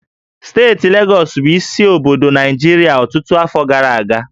Steeti Legọs bụ isi obodo Naịjirịa ọtụtụ afọ gara aga